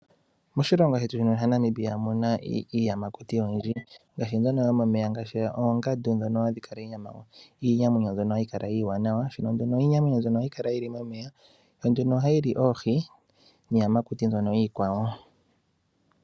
Moshilongo shetu shino shaNamibia omuna iiyamakuti oyindji ngaashi mbyono yomomeya ngaashi oongandu dhono hadhi li oonyama mbyono iinamwenyo hayi kala iiwanawa, shono nduno iinamwenyo mbyoka hayi kala yili momeya yo nduno ohayi li oohi niiyamakuti mbyono iikwawo.